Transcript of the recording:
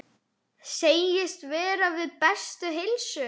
Segist vera við bestu heilsu.